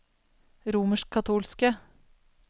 romerskkatolske